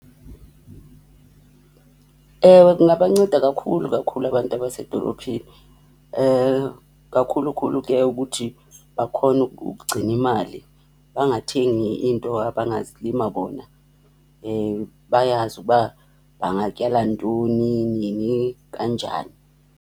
Ewe, kungabanceda kakhulu kakhulu abantu abasedolophini. Kakhulu khulu ke ukuthi bakhone ukugcina imali. Bangathengi into abangazilima bona. Bayazi ukuba bangatyala ntoni, nini, kanjani.